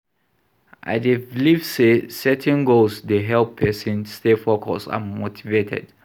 I dey believe say setting goals dey help pesin stay focused and motivated.